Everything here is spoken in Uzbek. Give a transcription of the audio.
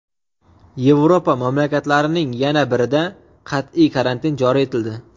Yevropa mamlakatlarining yana birida qattiq karantin joriy etildi.